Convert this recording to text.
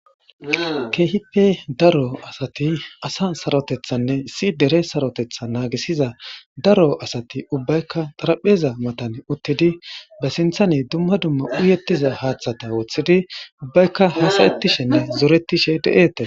keehipe daro asati asa sarotethanne issi dere sarotetha naagisiza daro asati ubbaykka xarapheza matan uttidi ba sinthane dumma dumma uyettiza haaththata woththidi ubbaykka hasayettishenne zoretishe de7ete